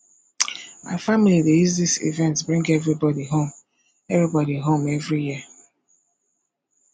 my family dey use dis event bring everybody home every home every year